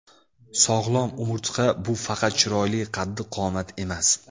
Sog‘lom umurtqa – bu faqat chiroyli qaddi-qomat emas.